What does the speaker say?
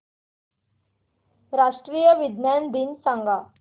राष्ट्रीय विज्ञान दिन सांगा